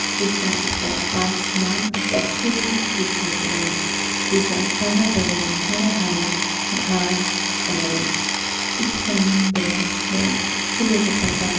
एकरा ऊपर आसमान सफ़ेद दिखत बा एजा अगल-बगल में हरा-हरा घास बावे इस समुंद्र में सूर्य के प्रकाश --